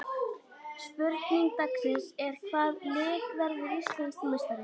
Spurning dagsins er: Hvaða lið verður Íslandsmeistari?